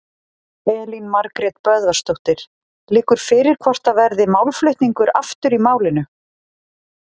Elín Margrét Böðvarsdóttir: Liggur fyrir hvort það verði málflutningur aftur í málinu?